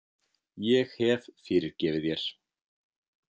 Ég hef fyrirgefið þér.